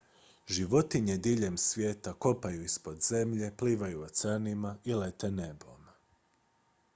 životinje žive diljem svijeta kopaju ispod zemlje plivaju oceanima i lete nebom